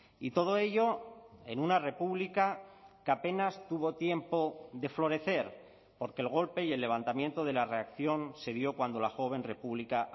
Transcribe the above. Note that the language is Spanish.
y todo ello en una república que apenas tuvo tiempo de florecer porque el golpe y el levantamiento de la reacción se dio cuando la joven república